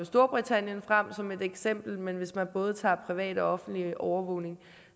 storbritannien frem som et eksempel men hvis man både tager privat og offentlig overvågning